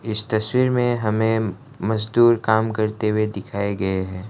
इस तस्वीर में हमें मजदूर काम करते हुए दिखाए गए हैं।